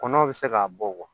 Kɔnɔw bɛ se k'a bɔ